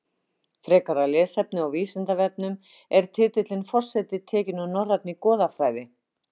Frekara lesefni á Vísindavefnum Er titillinn forseti tekinn úr norrænni goðafræði?